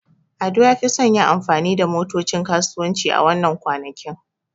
Ado ya fi son yin amfani da motocin kasuwanci a wannan kwanakin.